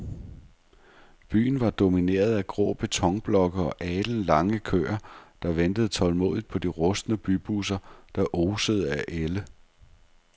Byen var domineret af grå betonblokke og alenlange køer, der ventede tålmodigt på de rustne bybusser, der osede af ælde.